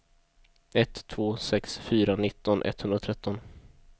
ett två sex fyra nitton etthundratretton